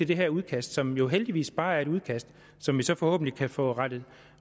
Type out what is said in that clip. det her udkast som jo heldigvis bare er et udkast som vi så forhåbentlig kan få rettet